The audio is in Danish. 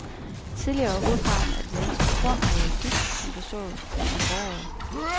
Tidligere var hovedparten af det danske kornareal byg, som blev sået om foråret.